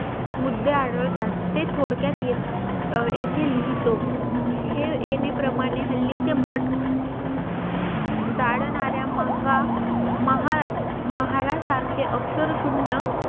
मुद्दे आढळतात ते थोडक्यात येत येथे लिहितो हे येणे प्रमाणे हल्लीचे भट गाडणार्या मंग्या महा महाल्या सारखे अक्षर शून्य